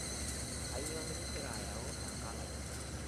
Kainyoo nikingira ayau enkang ai?